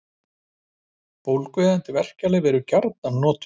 Bólgueyðandi verkjalyf eru gjarnan notuð.